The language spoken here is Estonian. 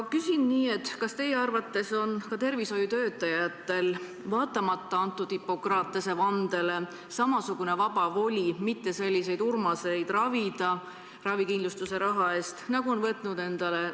Küsin nii: kas teie arvates on tervishoiutöötajatel vaatamata antud Hippokratese vandele samasugune vaba voli jätta sellised Urmased ravikindlustuse raha eest ravimata?